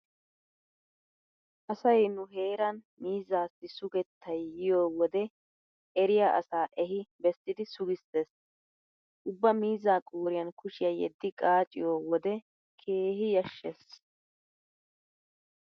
Asay nu heeran miizzaassi sugettay yiyo wode eriya asaa ehi bessidi sugissees. Ubba miizzaa qooriyan kushiya yeddi qaaciyo wode keehi yashshees.